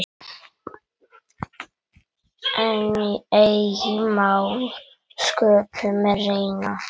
En eigi má sköpum renna.